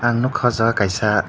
ang nogkha o jaga kaisa.